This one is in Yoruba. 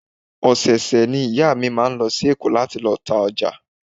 Ọ̀sẹ̀ ọ̀sẹ̀ ni ìyá mi máa ń lọ sí Èkó láti lọ ta ọjà